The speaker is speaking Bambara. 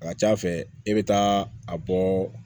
A ka ca fɛ i be taa a bɔ